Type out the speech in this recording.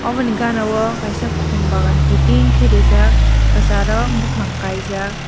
oboni gana o kaisa khum bagan kiting ke reejak kachar o bufang kaijak.